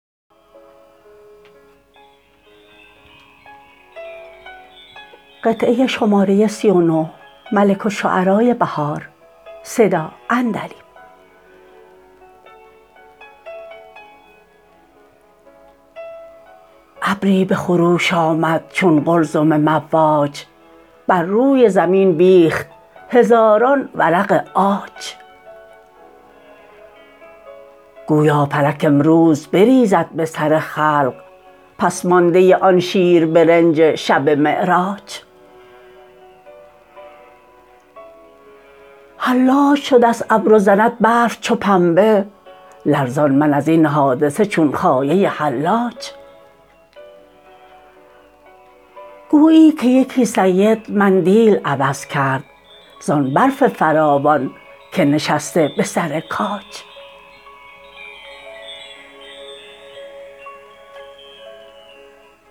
ابری به خروش آمد چون قلزم مواج بر روی زمین بیخت هزاران ورق عاج گویا فلک امروز بریزد به سر خلق پس مانده آن شیر برنج شب معراج حلاج شدست ابر و زند برف چو پنبه لرزان من ازین حادثه چون خایه حلاج گویی که یکی سید مندیل عوض کرد زان برف فراوان که نشسته به سر کاج